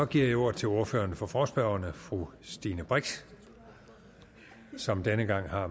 giver ordet til ordføreren for forespørgerne fru stine brix som denne gang har